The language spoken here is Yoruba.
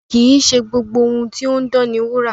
Kì í ṣe gbogbo ohun tó ń dán ni wúrà.